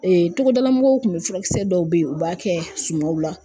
togodala mɔgɔw kun be furakisɛ dɔw be yen u b'a kɛ sumaw la